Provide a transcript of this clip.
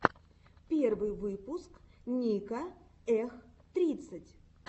первый выпуск ника эх тридцать